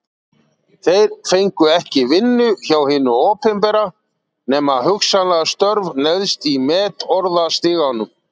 Þeir fengu ekki vinnu hjá hinu opinbera, nema hugsanlega störf neðst í metorðastiganum.